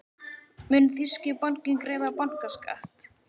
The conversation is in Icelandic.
Mun þýski bankinn greiða bankaskatt?